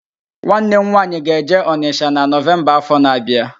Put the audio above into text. Nwanne m nwaanyị ga-eje Ọnịsha na Nọvemba áfọ̀ na-abịa